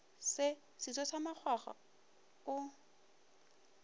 se seso sa makgwakgwa o